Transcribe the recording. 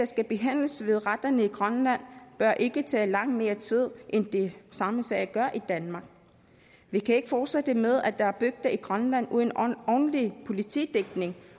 skal behandles ved retterne i grønland bør ikke tage langt mere tid end de samme sager gør i danmark vi kan ikke fortsætte med at der er bygder i grønland uden ordentlig politidækning